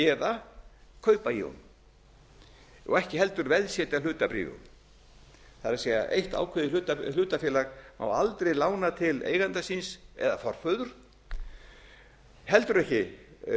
eða kaupa í honum og ekki heldur veðsetja hlutabréf í honum það er eitt ákveðið hlutafélag má aldrei lána til eiganda síns eða forföður heldur ekki